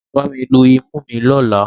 Ṣọlá máa bá mi lu imú mi lọ́la.